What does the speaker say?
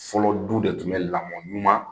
Fɔlɔ du de tun bɛ lamɔɲuman.